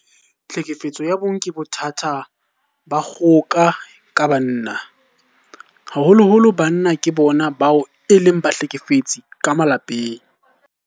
Tlhekefetso ya bong ke bothata ba dikgoka ka banna. Haholoholo banna ke bona bao e leng bahlekefetsi ka malapeng.